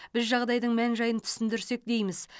біз жағдайдың мән жайын түсіндірсек дейміз